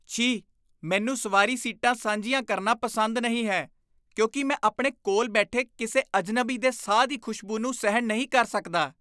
ਛੀ! ਮੈਨੂੰ ਸਵਾਰੀ ਸੀਟਾਂ ਸਾਂਝੀਆਂ ਕਰਨਾ ਪਸੰਦ ਨਹੀਂ ਹੈ ਕਿਉਂਕਿ ਮੈਂ ਆਪਣੇ ਕੋਲ ਬੈਠੇ ਕਿਸੇ ਅਜਨਬੀ ਦੇ ਸਾਹ ਦੀ ਖੁਸ਼ਬੂ ਨੂੰ ਸਹਿਣ ਨਹੀਂ ਕਰ ਸਕਦਾ।